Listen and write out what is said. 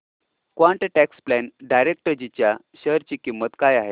quant tax plan डायरेक्टजी च्या share ची किंमत काय आहे